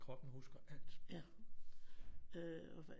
Kroppen husker alt